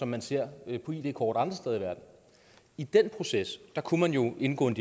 man ser på id kort andre steder i verden i den proces kunne man jo indgå i